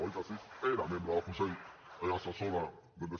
oi que sí era membre del consell assessor d’endesa